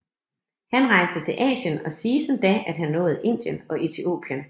Han rejste til Asien og siges endda at have nået Indien og Etiopien